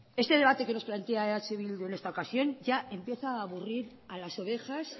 este debate que nos plantea eh bildu en esta ocasión ya empieza a aburrir a las ovejas